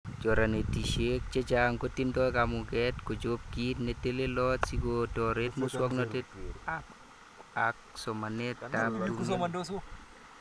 Choranetishek chechang kotindoi kamuget kochob kit netelelot sikotoret muswoknotett ak somanetab tumin